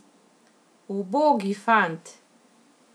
Ubogi fant!